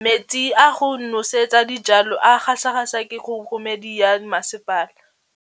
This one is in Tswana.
Metsi a go nosetsa dijalo a gasa gasa ke kgogomedi ya masepala.